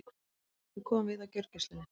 Við komum við á gjörgæslunni.